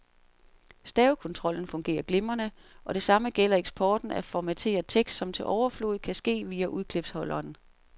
Stavekontrollen fungerer glimrende, og det samme gælder eksporten af formateret tekst, som til overflod kan ske via udklipsholderen.